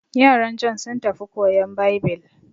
Yaran Jon sun tafi koyan Baibil.